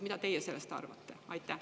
Mida teie sellest arvate?